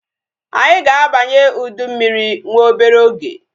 Anyị ga-abanye ụdị mmiri nwa obere oge